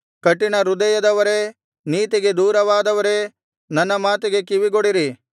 ಕಠಿಣ ಹೃದಯದವರೇ ನೀತಿಗೆ ದೂರವಾದವರೇ ನನ್ನ ಮಾತಿಗೆ ಕಿವಿಗೊಡಿರಿ